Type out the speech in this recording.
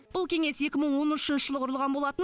бұл кеңес екі мың он үшінші жылы құрылған болатын